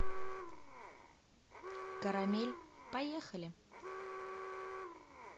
карамель поехали